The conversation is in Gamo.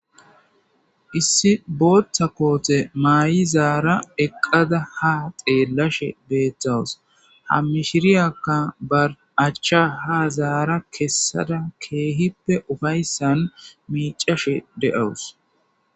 Issi booththa koote mayidaara eqqada ha xellashe beettawus.ha mishiriyakka ba achcha keehippe kessada miiccashe de7awus.